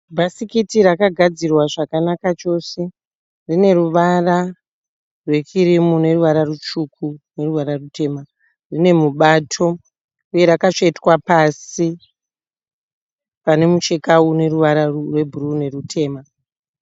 Bhasikiti rakagadzirwa zvakanaka chose rine ruvara rwekirimu neruvara rutsvuku neruvara rutema. Rine mubato uye rakatsvetwa pasi pane mucheka une ruvara rwebhuruu nerutema.